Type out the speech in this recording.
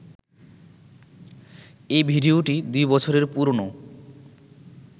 এই ভিডিওটি দুই বছরের পুরনো